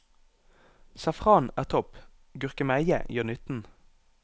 Safran er topp, gurkemeie gjør nytten.